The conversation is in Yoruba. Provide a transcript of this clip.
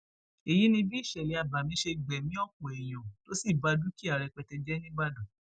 èyí ni bí ìṣẹlẹ abàmì ṣe gbẹmí ọpọ èèyàn tó sì ba dúkìá rẹpẹtẹ jẹ nìbàdàn